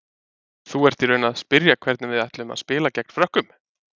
Þú ert í raun að spyrja hvernig við ætlum að spila gegn Frökkum?